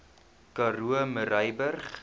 karoo murrayburg